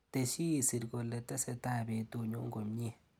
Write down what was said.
Tesyi isir kole tesetai betunyu komnyee.